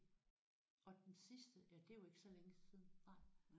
Okay. Og den sidste ja det er jo ikke så længe siden